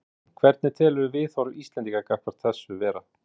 Hugrún: Hvernig telurðu viðhorf Íslendinga gagnvart þessu vera?